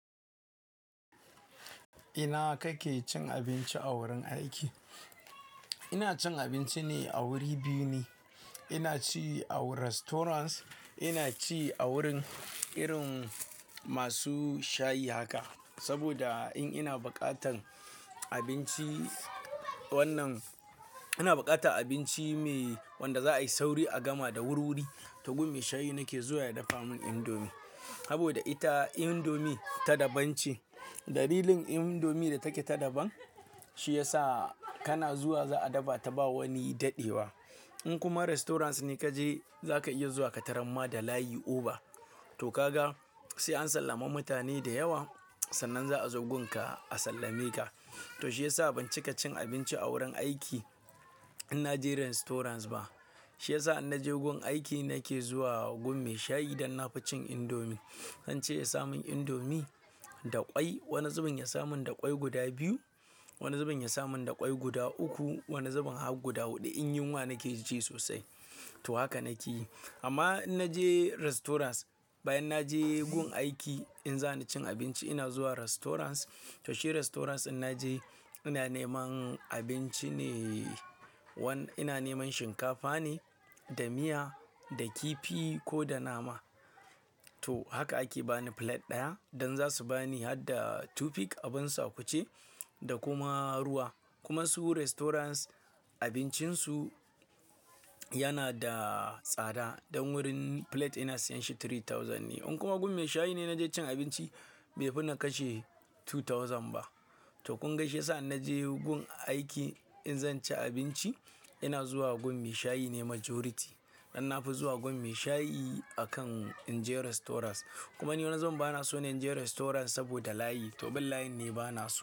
Ina kake cin abinci a wurin aiki? Ina cin abinci ne a wuri biyu ne. Ina ci a restaurants, ina ci a wurin irin masu shayi haka. Saboda in ina bukatan abinci wannan, ina bukata abinci me wanda za a yi sauri a gama da wuri-wuri, to gun maishayi nake zuwa ya dafa mun indomie. Saboda ita indomie ta daban ce. Dalilin indomie da take ta daban, shi yasa kana zuwa za a dafa ta ba wani dade ba. In kuma restaurants ne ka je, za ka iya zuwa ka taramma da layi oba. To ka ga, sai an sallami mutane da yawa, sannan za a zo gun ka a sallame ka. To shi yasa ban cika cin abinci a wurin aiki in na je restaurants ba. Shi yasa in naje gun aiki nake zuwa gun maishayi dan na fi cin indomie. Zan ce ya samun indomie da ƙwai. Wani zuben ya samun da ƙwai guda biyu, wani zuben ya samun da ƙwai guda uku, wani zuben har guda huɗu in yunwa nake ci sosai. To haka nake yi. Amma in naje restaurants, bayan na je gun aiki in za ni cin abinci ina zuwa restaurants. To shi restaurants in naje, ina neman abinci ne wanda ina neman shinkafa ne da miya da kifi ko da nama. To haka ake bani plate ɗaya dan za su bani har da tufik abin sakwuce da kuma ruwa. Kuma su restaurants abincin su yana da tsada. Dan wurin plate ina siyan shi three thousand ne. In kuma gun mashayi ne naje cin abinci, bai fi na kashe two thousand ba. To kunga shiyasa in naje gun aiki in zan ci abinci ina zuwa gun maishayi ne majority. Dan na fi zuwa gun mashayi akan in je restaurants. Kuma ni wani zuben bana so in je restaurants saboda layi. To bin layin ne bana so.